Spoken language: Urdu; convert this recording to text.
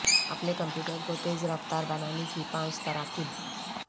اپنے کمپیوٹر کو تیز رفتار بنانے کی پانچ تراکیب